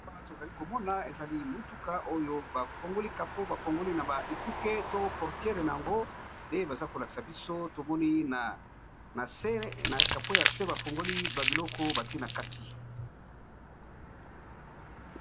Awa tozali komona ezali motuka oyo ba fongoli kapo ba fongoli na ba ekuke to portiere na yango nde baza ko lakisa biso tomoni nase ba fungoli ba biloko batie na kati.